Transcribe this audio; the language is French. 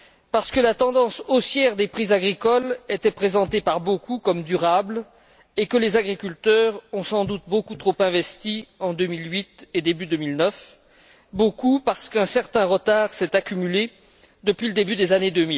Parce que la tendance haussière des prix agricoles était présentée par beaucoup comme durable et que les agriculteurs ont sans doute beaucoup trop investi en 2008 et au début de 2009, beaucoup parce qu'un certain retard s'est accumulé depuis le début des années